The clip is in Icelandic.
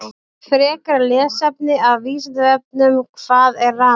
Frekara lesefni af Vísindavefnum: Hvað er rafmagn?